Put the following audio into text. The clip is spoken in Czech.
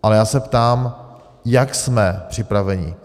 Ale já se ptám: Jak jsme připraveni?